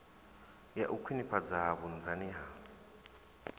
ya u khwinifhadza vhunzani ha